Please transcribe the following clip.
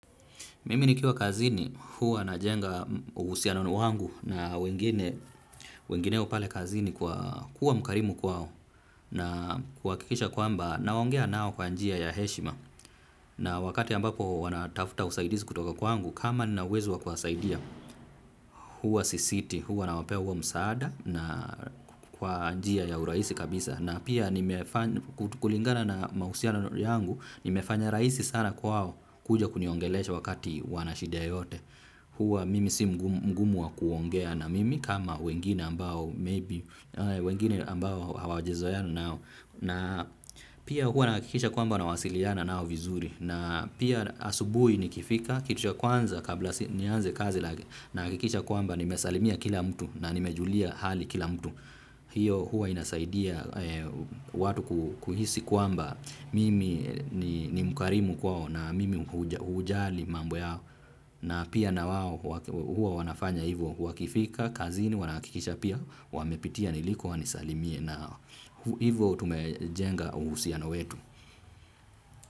Mimi nikiwa kazini huwa najenga uhusiano wangu na wengine pale kazini kwa kuwa mkarimu kwao na kuhakikisha kwamba naongea nao kwa njia ya heshima. Na wakati ambapo wanatafuta usaidizi kutoka kwangu kama nina uwezo wa kuwasaidia huwa sisiti huwa nawapea huo msaada na kwa njia ya urahisi kabisa. Na pia kulingana na mahusiano yangu nimefanya rahisi sana kwao kuja kuniongelesha wakati wana shida yoyote. Huwa mimi si mgumu wa kuongea na mimi kama wengine ambao maybe wengine ambao hawajazoeana nao. Na pia huwa nahakikisha kwamba nawasiliana nao vizuri. Na pia asubuhi nikifika kitu cha kwanza kabla nianze kazi nahakikisha kwamba nimesalimia kila mtu na nimejulia hali kila mtu. Hiyo huwa inasaidia watu kuhisi kwamba mimi ni mkarimu kwao na mimi hujali mambo yao. Na pia nawao huwa wanafanya hivyo, wakifika, kazini, wanahakikisha pia, wamepitia niliko wanisalimie nao hivo tumejenga uhusiano wetu.